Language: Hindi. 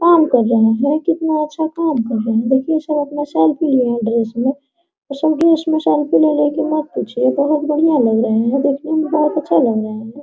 काम कर रहे है कितना अच्छा काम कर रहे है देखिये सब अपना सेल्फी लिए है ड्रेस में सब ड्रेस में सेल्फी ले रहे है कि मत पूछिए बहुत बढ़िया लग रहे है देखने में बहुत अच्छा लग रहा है।